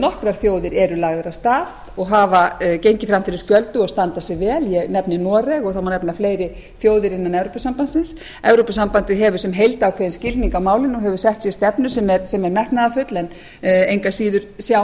nokkrar þjóðir eru lagaðar af stað og hafa gengið fram fyrir skjöldu og standa sig vel ég nefni noreg og það má nefna fleiri þjóðir innan evrópusambandsins evrópusambandið hefur sem heild ákveðinn skilning á málinu og hefur sett sér stefnu sem er metnaðarfull en engu að síður sjá